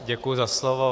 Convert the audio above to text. Děkuji za slovo.